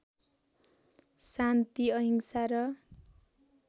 शान्ति अहिंसा र